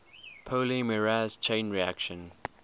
polymerase chain reaction